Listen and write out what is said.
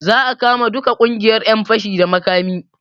Za a kama duka ƙungiyar ƴan fashi da makami